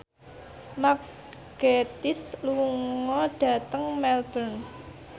Mark Gatiss lunga dhateng Melbourne